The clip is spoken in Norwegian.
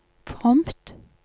fromt